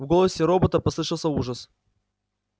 в голосе робота послышался ужас